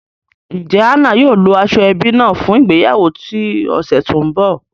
Njẹ Anna yóò lo ashoebi naa fun ìgbéyàwó ti ọsẹ to nbọ?